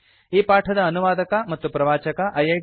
ಈ ಪಾಠದ ಅನುವಾದಕ ಮತ್ತು ಪ್ರವಾಚಕ ಐಐಟಿ